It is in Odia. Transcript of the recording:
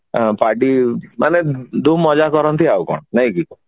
ଅ party ମାନେ ଧୁମ୍ ମଜା କରନ୍ତି ଆଉ କଣ ନାଇକି